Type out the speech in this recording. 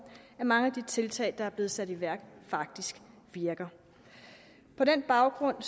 at mange af de tiltag der er blevet sat i værk faktisk virker på den baggrund